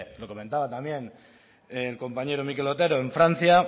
lo comentaba también el compañero mikel otero en francia